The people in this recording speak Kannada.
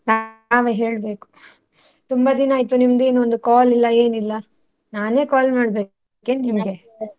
ತಾವೇ ಹೇಳ್ಬೇಕು ತುಂಬಾ ದಿನ ಆಯ್ತು ನಿಮ್ದೆನು ಒಂದು call ಇಲ್ಲ ಏನಿಲ್ಲ, ನಾನೇ call ಮಾಡ್ಬೇಕು ಏನ್ನಿಮ್ಗೆ?